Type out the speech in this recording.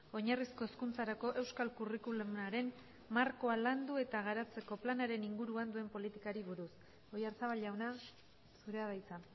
oinarrizko hezkuntzarako euskal curriculumaren markoa landu eta garatzeko planaren inguruan duen politikari buruz oyarzabal jauna zurea da hitza